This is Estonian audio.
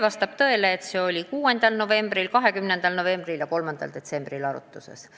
Vastab tõele, et see lahendus oli 6. novembril, 20. novembril ja 3. detsembril arutlusel.